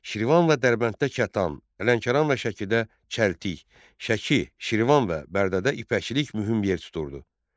Şirvan və Dərbənddə kətan, Lənkəran və Şəkidə çəltik, Şəki, Şirvan və Bərdədə ipəkçilik mühüm yer tuturdu.